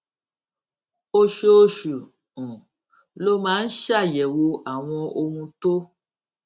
oṣooṣù um ló máa ń ṣàyèwò àwọn ohun tó